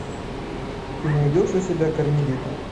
ты найдешь у себя кармелита